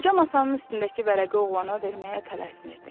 Qoca masanın üstündəki vərəqi oğlana verməyə tələsmirdi.